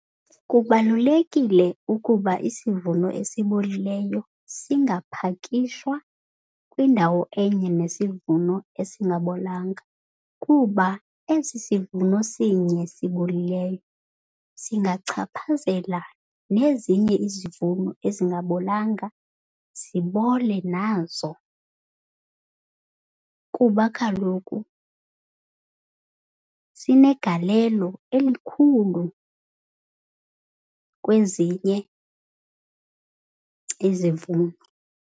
Kubalulekile ukuba isivuno esibolileyo singaphakishwa kwindawo enye nesivuno esingabolanga, kuba esi sivuno sinye sibolileyo singachaphazela nezinye izivuno ezingabolanga zibole nazo. Kuba kaloku sinegalelo elikhulu kwezinye izivuno.